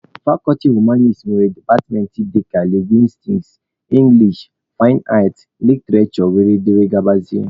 Fakọlti humaniti nwere departmentị dịka lingwistiks, english, fain aat, literishure wdg.